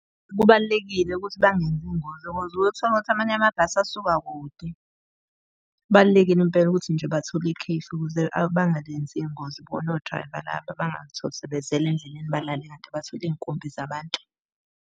Kubalulekile ukuthi bangenzi iy'ngozi uyothola ukuthi amanye amabhasi asuka kude. Kubalulekile impela ukuthi nje bathole ikhefu ukuze bangalenzi iy'ngozi bona o-driver laba. Bangatholi sebezela endleleni balale kanti bathwele iy'nkumbi zabantu.